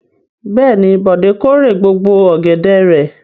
Bẹ́ẹ̀ ni, Bọ̀dé kórè gbogbo ọ̀gẹ̀dẹ̀ rẹ̀.